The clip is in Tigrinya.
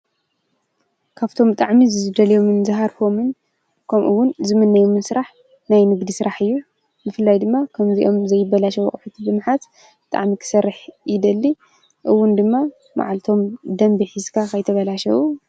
ካብቶም ብጣዕሚ ዝደልዮምን ዝሃርፎምን ከምኡ ውን ዝምነዮምን ስራሕ ናይ ንግዲ ስራሕ እዩ። ብፍላይ ድማ ከምዚኦም ዘይበላሸዉ ኣቁሑት ብምሓዝ ብጣዕሚ ክሰርሕ ይደሊ። ከምኡ ውን ድማ መዓልቶም ብደምቢ ሒዝካ ከይተብላሸወ.